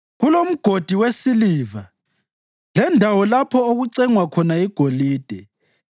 Kulomgodi wesiliva lendawo lapho okucengwa khona igolide.